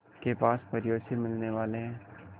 के पास परियों से मिलने वाले हैं